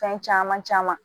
Fɛn caman caman